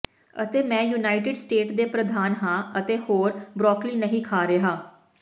ਅਤੇ ਮੈਂ United State ਦੇ ਪ੍ਰਧਾਨ ਹਾਂ ਅਤੇ ਮੈਂ ਹੋਰ ਬਰੌਕਲੀ ਨਹੀਂ ਖਾ ਰਿਹਾ